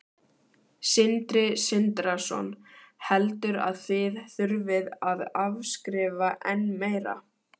Sindri Sindrason: Heldur að þið þurfið að afskrifa enn meira?